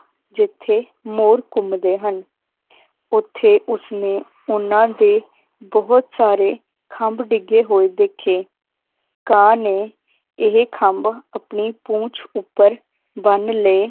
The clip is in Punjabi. ਜਿਥੇ ਮੋਰ ਘੁੰਮਦੇ ਹਨ ਓਥੇ ਉਸਨੇ ਉਹਨਾਂ ਦੇ ਬਹੁਤ ਸਾਰੇ ਖੰਭ ਡਿੱਗੇ ਹੋਏ ਦੇਖੇ ਕਾਂ ਨੇ ਇਹ ਖੰਭ ਆਪਣੀ ਪੂੰਛ ਉੱਪਰ ਬੰਨ ਲਏ